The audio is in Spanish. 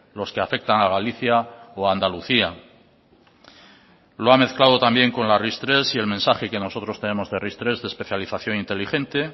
los que afectan a galicia o andalucía lo ha mezclado también con la ris tres y el mensaje que nosotros tenemos de ris tres de especialización inteligente